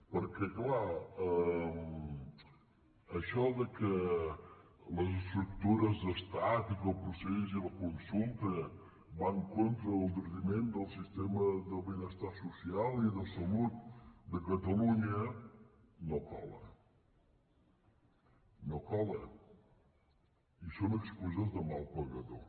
perquè és clar això que les estructures d’estat i que el procés i la consulta van en detriment del sistema de benestar social i de salut de catalunya no cola no cola i són excuses de mal pagador